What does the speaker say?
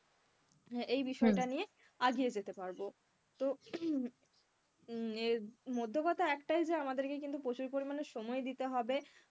হ্যাঁ এই বিষয়টা নিয়ে আগিয়ে যেতে পারবো তো মধ্য কথা একটাই যে আমাদেরকে কিন্তু প্রচুর পরিমাণে সময় দিতে হবে আহ